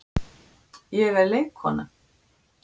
En páskarnir eru að koma og þá er bryddað upp á ýmsu.